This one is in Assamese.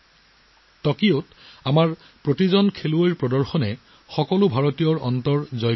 টকিঅ'ত আমাৰ খেলুৱৈসকলৰ প্ৰদৰ্শনে প্ৰতিজন ভাৰতীয়ৰ হৃদয় জয় কৰিছিল